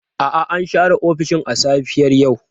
A'a, an share ofishin a safiyar yau.